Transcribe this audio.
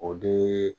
O de